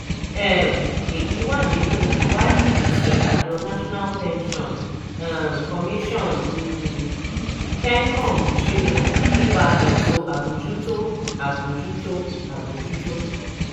um èyí wà nínú ìwádìí tí àjọ national pension um commission um (pencom) ṣe nípa ètò àbójútó àbójútó àbójútó